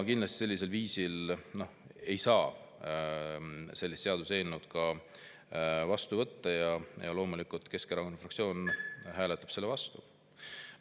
Sellisel kujul ei saa seda seaduseelnõu vastu võtta ja loomulikult Keskerakonna fraktsioon hääletab selle vastu.